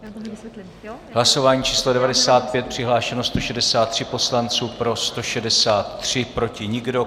Hlasování číslo 95, přihlášeno 163 poslanců, pro 163, proti nikdo.